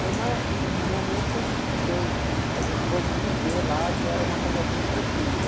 Foi uma, um momento que eu, a gente pôde viver lá, que era uma coisa bem tranquila.